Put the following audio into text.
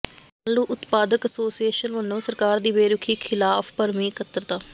ਆਲੂ ਉਤਪਾਦਕ ਐਸੋਸੀਏਸ਼ਨ ਵੱਲੋਂ ਸਰਕਾਰ ਦੀ ਬੇਰੁਖ਼ੀ ਖਿਲਾਫ਼ ਭਰਵੀਂ ਇਕੱਤਰਤਾ